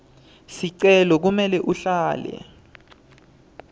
sicelo kumele uhlale